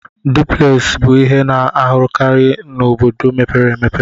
Duplex bụ ihe a na-ahụkarị n'obodo mepere emepe.